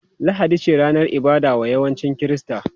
Lahadi ce ranar ibada wa yawancin Kirista.